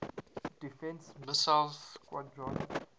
defense missile squadron